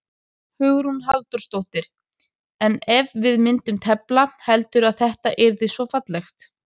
Hugrún Halldórsdóttir: En ef við myndum tefla, heldurðu að þetta yrði svona fallegt?